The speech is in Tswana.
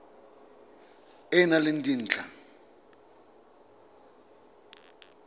e e nang le dintlha